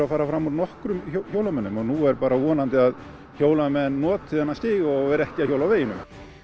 að fara fram úr nokkrum hjólamönnum og nú er bara að vonandi að hjólamenn noti þennan stíg og séu ekki að hjóla á veginum